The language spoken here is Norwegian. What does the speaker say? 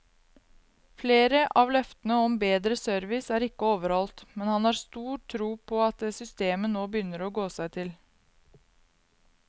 Flere av løftene om bedre service er ikke overholdt, men han har stor tro på at systemet nå begynner å gå seg til.